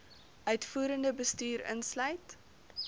uitvoerende bestuur insluit